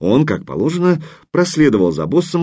он как положено проследовал за босом